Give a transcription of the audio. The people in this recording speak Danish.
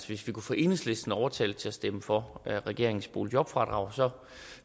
hvis vi kunne få enhedslisten overtalt til at stemme for regeringens boligjobfradrag